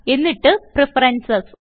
എന്നിട്ട് പ്രഫറൻസസ്